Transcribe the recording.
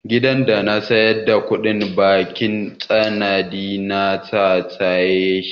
Gidan da na saya da kuɗin bankin tanadi na na saye shi.